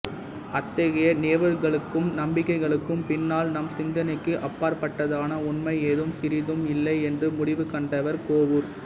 அத்தகைய நிகழ்வுகளுக்கும் நம்பிக்கைகளுக்கும் பின்னால் நம் சிந்தனைக்கு அப்பாற்பட்டதான உண்மை ஏதும் சிறிதும் இல்லை என்று முடிவு கண்டவர் கோவூர்